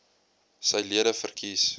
sy lede verkies